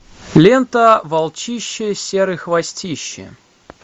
лента волчище серый хвостище